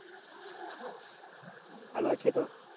ও ভালো আছে তো?